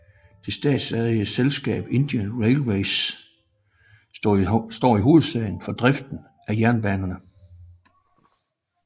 Det statsejede selskab Indian Railways står i hovedsagen for driften af jernbanen